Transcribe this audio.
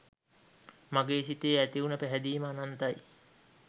මගේ සිතේ ඇති වුන පැහැදීම අනන්තයි.